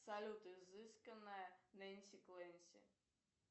салют изысканная нэнси клэнси